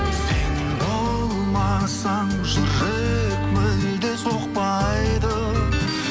сен болмасаң жүрек мүлде соқпайды